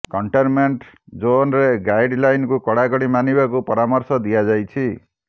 containment ଜୋନରେ ଗାଇଡ୍ ଲାଇନକୁ କଡାକଡି ମାନିବାକୁ ପରାମର୍ଶ ଦିଆଯାଇଛି